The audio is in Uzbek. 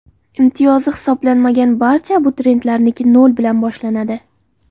Imtiyozi hisoblanmagan barcha abituriyentlarniki nol bilan boshlanadi.